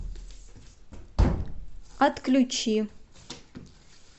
отключи